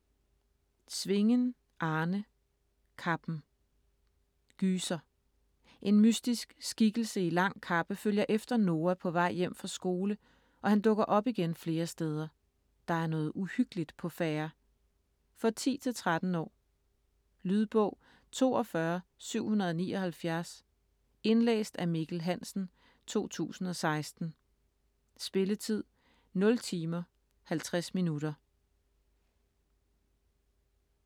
Svingen, Arne: Kappen Gyser. En mystisk skikkelse i lang kappe følger efter Noah på vej hjem fra skole og han dukker op igen flere steder. Der er noget uhyggeligt på færde. For 10-13 år. Lydbog 42779 Indlæst af Mikkel Hansen, 2016. Spilletid: 0 timer, 50 minutter.